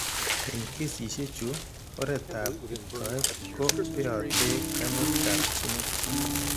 Eng' kesishek chu, oretab iptoet ko beote kaimutikab ginit.